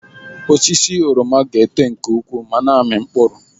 Osisi oroma ga-eto nke ukwuu ma na-amị mkpụrụ.